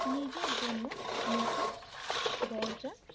নিজের জন্য নতুন দরজা,